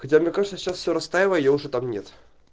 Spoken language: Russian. хотя мне кажется сейчас все растаяло её уже там нет